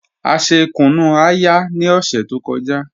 A ṣè kùnú-ayà ni ọṣẹ tó kọ́jà